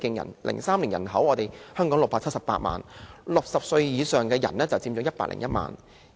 2003年，香港有678萬人口 ，60 歲以上的人佔101萬人。